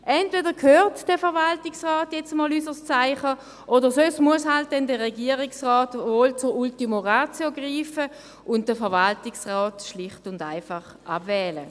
Entweder hört der Verwaltungsrat nun einmal unser Zeichen, oder sonst muss der Regierungsrat dann zur Ultima Ratio greifen und den Verwaltungsrat schlicht und einfach abwählen.